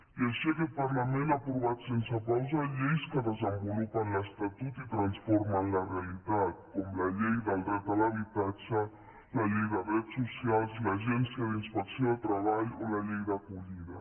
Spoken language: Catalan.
i així aquest parlament ha aprovat sense pausa lleis que desenvolupen l’estatut i transformen la realitat com la llei del dret a l’habitatge la llei de drets socials l’agència d’inspecció de treball o la llei d’acollida